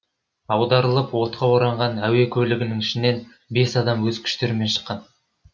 аударылып отқа оранған әуе көлігінің ішінен бес адам өз күштерімен шыққан